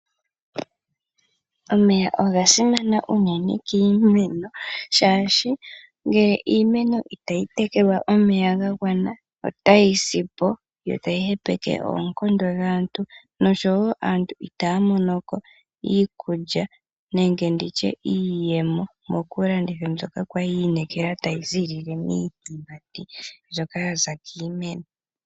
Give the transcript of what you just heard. Omeya oga simana unene kiimeno shaashi ngele iimeno itayi tekelwa omeya ga gwana otayi si po, yo tayi hepeke oonkondo dhaantu, nosho wo aantu itaya mono ko iikulya nenge ndi tye iiyemo mokulanditha mbyoka kwali ya inekela tayi ziilile miiyimati mbyoka yaza kiimeno.